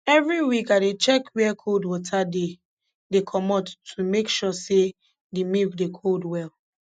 every week i dey check where cold water dey dey comot to make sure say de milk dey cool well